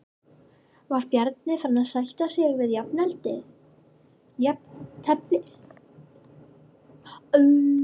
Var Bjarni farinn að sætta sig við jafnteflið?